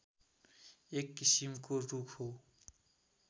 एक किसिमको रूख हो